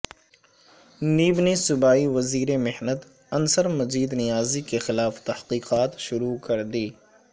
NAB نے صوبائی وزیر محنت انصر مجید نیازی کے خلاف تحقیقات شروع کردی